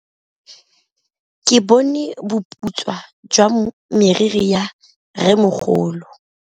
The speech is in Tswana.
Ke bone boputswa jwa meriri ya rrêmogolo.